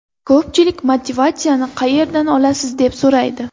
Ko‘pchilik motivatsiyani qayerdan olasiz deb so‘raydi.